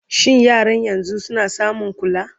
shin yaran yanzun suna samun kula?